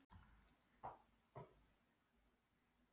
hrópaði hún upp yfir sig og greip hendi upp í andlitið.